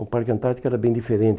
O Parque Antártico era bem diferente.